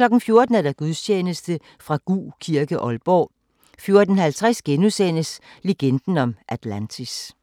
14:00: Gudstjeneste fra Gug Kirke, Aalborg 14:50: Legenden om Atlantis *